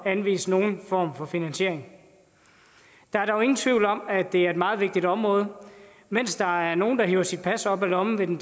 anvise nogen form for finansiering der er dog ingen tvivl om at det er et meget vigtigt område mens der er nogen der hiver sit pas op af lommen ved den